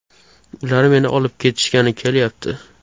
Ular meni olib ketishgani kelyapti.